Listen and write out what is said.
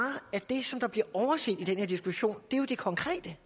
at det der bliver overset i den her diskussion er det konkrete